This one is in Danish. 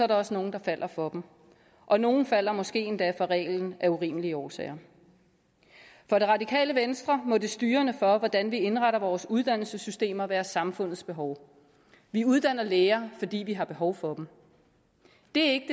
der også nogle der falder for dem og nogle falder måske endda for reglen af urimelige årsager for det radikale venstre må det styrende for hvordan vi indretter vores uddannelsessystemer være samfundets behov vi uddanner læger fordi vi har behov for dem det